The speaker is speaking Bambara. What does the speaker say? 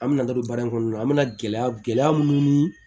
An bɛna taa don baara in kɔnɔna na an bɛna gɛlɛya gɛlɛya minnu ni